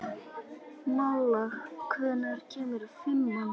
Malla, hvenær kemur fimman?